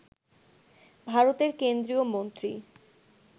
ভারতের কেন্দ্রীয় মন্ত্রী